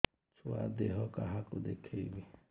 ଛୁଆ ଦେହ କାହାକୁ ଦେଖେଇବି